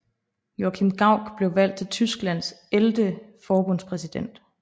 Joachim Gauck blev valgt til Tysklands ellevte forbundspræsident